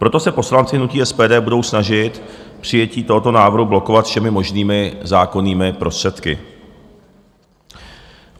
Proto se poslanci hnutí SPD budou snažit přijetí tohoto návrhu blokovat všemi možnými zákonnými prostředky.